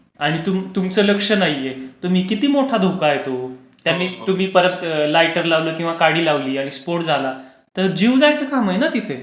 आणि तुमचं लक्ष नाहीये तुम्ही किती नोटा धोका आहे तो... त्याने तुम्ही पुन्हा लायटर लावलं किंवा काडी लावली, स्फोट झाला, तर जीव जायच काम आहे ना तिथे,